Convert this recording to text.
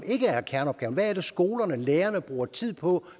ikke er kerneopgaven hvad er det skolerne og lærerne bruger tid på